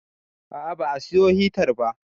A'a ba a siyo hitar ba